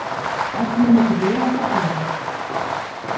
Ertu með mikið bréfasafn eða hvað?